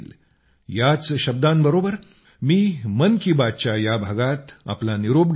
याच शब्दांबरोबर मी मन की बात च्या या भागात आपला निरोप घेतो